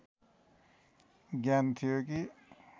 ज्ञान थियो कि